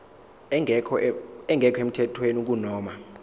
engekho emthethweni kunoma